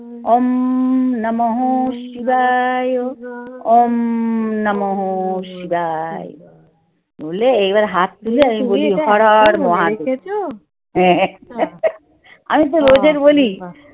ওম নম শিবায়ও ওম নম শিবায় বুঝলে এবার হাত দিয়ে হ্যাঁ আমি তো